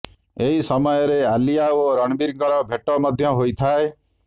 ଏହି ସମୟରେ ଆଲିଆ ଓ ରଣବୀରଙ୍କର ଭେଟ ମଧ୍ୟ ହୋଇଥାଏ